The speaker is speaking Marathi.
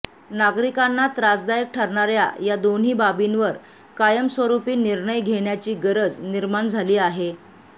नागरिकांना त्रासदायक ठरणाऱया या दोन्ही बाबींवर कायमस्वरुपी निर्णय घेण्याची गरज निर्माण झाली आहे